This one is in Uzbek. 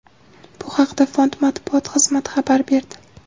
Bu haqda fond matbuot xizmati xabar berdi .